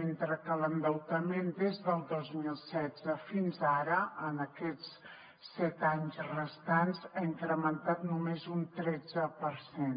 mentre que l’endeutament des del dos mil setze fins ara en aquests set anys restants s’ha incrementat només un tretze per cent